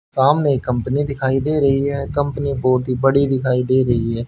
सामने कंपनी दिखाई दे रही है कंपनी बहोत ही बड़ी दिखाई दे रही है।